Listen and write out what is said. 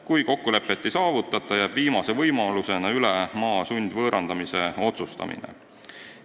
Kui kokkulepet ei saavutata, jääb viimase võimalusena üle maa sundvõõrandamise otsustamine.